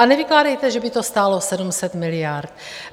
A nevykládejte, že by to stálo 700 miliard.